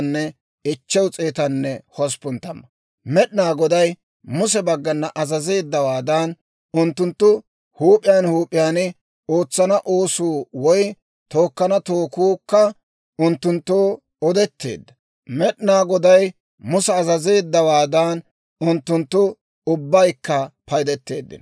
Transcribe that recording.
Med'inaa Goday Muse baggana azazeeddawaadan, unttunttu huup'iyaan huup'iyaan ootsana oosuu woy tookkana tookuukka unttunttoo odetteedda. Med'inaa Goday Musa azazeeddawaadan, unttunttu ubbaykka paydeteeddino.